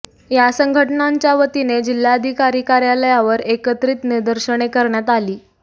या संघटनांच्या वतीने जिल्हाधिकारी कार्यालयावर एकत्रित निदर्शने करण्यात आली